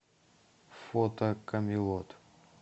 фото камелот